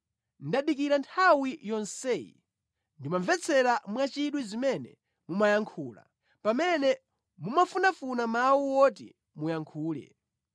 Ndadikira nthawi yonseyi, ndimamvetsera mwachidwi zimene mumayankhula, pamene mumafunafuna mawu oti muyankhule,